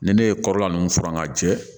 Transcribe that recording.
Ni ne ye kɔrɔla nunnu furan k'a jɛ